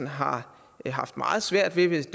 har haft meget svært ved hvis